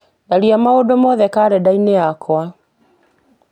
tharia maũndũ mothe karenda-ini yakwa